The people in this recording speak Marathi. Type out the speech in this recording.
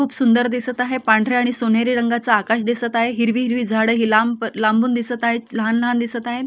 खूप सुंदर दिसत आहे पांढऱ्या आणि सोनेरी रंगाच आकाश दिसत आहे हिरवी हिरवी झाडं ही लांब लांबून दिसत आहेत लहान लहान दिसत आहेत.